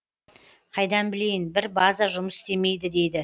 қайдан білейін бір база жұмыс істемейді дейді